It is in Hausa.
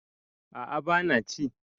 a a bana ci